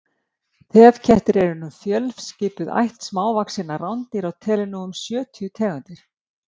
þefkettir eru fjölskipuð ætt smávaxinna rándýra og telur nú um sjötíu tegundir